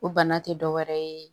O bana tɛ dɔ wɛrɛ ye